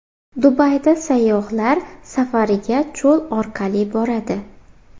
Dubayda sayyohlar safariga cho‘l orqali boradi.